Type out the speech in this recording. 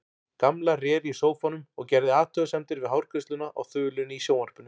Gamla réri í sófanum og gerði athugasemdir við hárgreiðsluna á þulunni í sjónvarpinu.